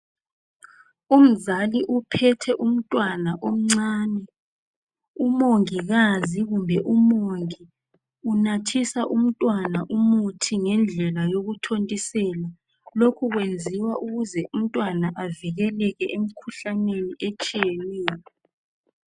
Umzali uphethe umntwana omncane, umongikazi kumbe umongi unathisa umntwana umuthi ngendlela yokuthontisela lokhu kwenziwa ukuze umntwana avikeleke emkhuhlaneni etshiyeneyo